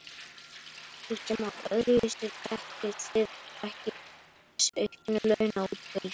Kristján Már: Öðruvísi dekkið þið ekki þessi auknu launaútgjöld?